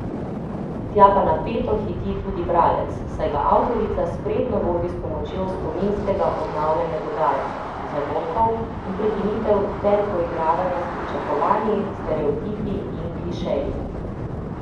Tja pa napeto hiti tudi bralec, saj ga avtorica spretno vodi s pomočjo spominskega obnavljanja dogajanja, zamolkov in prekinitev ter poigravanja s pričakovanji, stereotipi in klišeji.